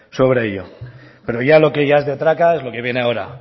sobre ello pero lo que ya es de traca es lo que viene ahora